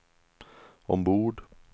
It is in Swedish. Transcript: ombord